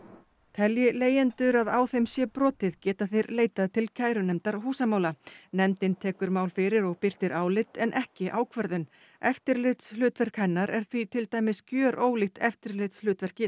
telji leigjendur að á þeim sé brotið geta þeir leitað til kærunefndar húsamála nefndin tekur mál fyrir og birtir álit en ekki ákvörðun eftirlitshlutverk hennar er því til dæmis gjörólíkt eftirlitshlutverki